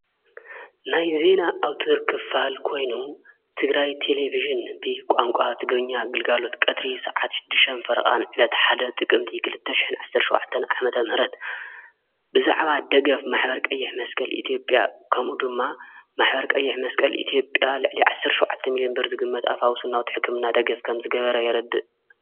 ናይ ዜና ኣው ትድርክፋል ኮይኑ ትግራይ ቴሌብስን ብ ቛንቋ ትግርኛ ኣግልጋሎት ቀድሪ ሰዓትድም ፈርቓን ዕለቲ ሓደ ጥቕምቲ ኽልተሽሕን ዓሠሸዋዓዕተን ዓመተ ምህረት ብዛዕባ ደገፍ ማኅበር ቀየሕ መስቀል ኢቲኦብያ ከምኡ ድማ ማኅበር ቀየሕ መስቀል ኢቲኦጴያ ዕሊዓሠርሸዉዓተ ሚልምበር ዝግመት ኣፍውስናውት ሕክምና ደገፍ ከም ዝገበረ የረድእ።